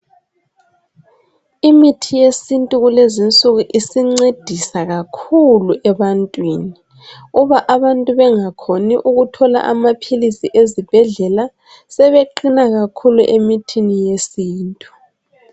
Imithi yesintu kulezinsuku isincedisa kakhulu ebantwini uba abantu bengakhoni ukuthola amaphilisi ezibhedlela sebeqina kakhulu emithini yesintu